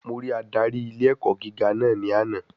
Mo rí Ádárì ilé ẹ̀kọ́ gíga ní àná.